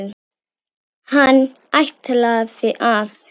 Hann ætlaði að.